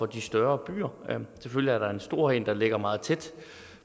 de større byer selvfølgelig er der en stor en der ligger meget tæt